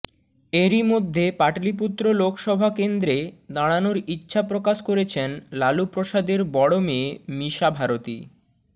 এরই মধ্যে পাটলিপুত্র লোকসভা কেন্দ্রে দাঁড়ানোর ইচ্ছা প্রকাশ করেছেন লালুপ্রসাদের বড় মেয়ে মিসা ভারতী